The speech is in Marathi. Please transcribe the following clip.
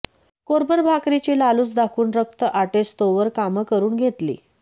कोरभर भाकरीची लालूच दाखवून रक्त आटेस्तोवर कामं करून घेतली